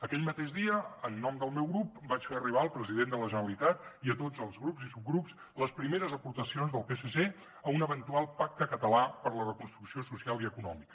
aquell mateix dia en nom del meu grup vaig fer arribar al president de la generalitat i a tots els grups i subgrups les primeres aportacions del psc a un eventual pacte català per a la reconstrucció social i econòmica